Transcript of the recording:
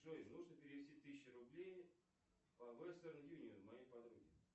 джой нужно перевести тысячу рублей по вестерн юнион моей подруге